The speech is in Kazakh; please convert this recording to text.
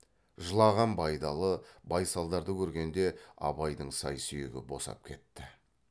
жылаған байдалы байсалдарды көргенде абайдың сай сүйегі босап кетті